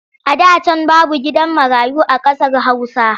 A da can babu gidan marayu a ƙasar Hausa.